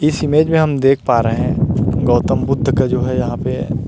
इस इमेज में देख पा रहै है गौतम बुद्ध का जो है यहाँ पे --